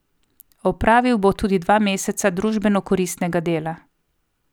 Opravil bo tudi dva meseca družbeno koristnega dela.